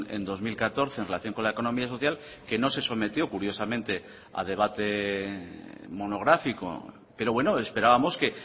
en dos mil catorce en relación con la economía social que no se sometió curiosamente a debate monográfico pero bueno esperábamos que